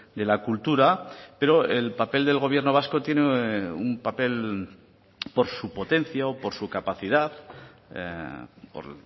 de la cultura pero el papel del gobierno vasco tiene un papel por su potencia o por su capacidad por